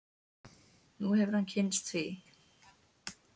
Nú hefur hann kynnst því.